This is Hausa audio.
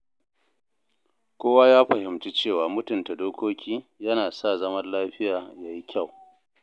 Kowa ya fahimci cewa mutunta dokoki yana sa zaman lafiya ya yi kyau.